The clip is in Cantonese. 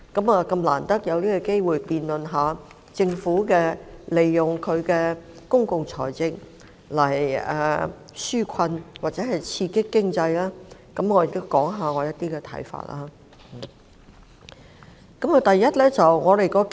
我們難得有機會就政府運用公共財政來紓困或刺激經濟進行辯論，我亦要談談我的一些看法。